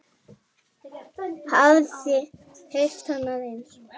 Hafiði heyrt annað eins?